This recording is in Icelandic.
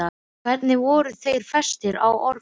Hvernig voru þeir festir á orfin?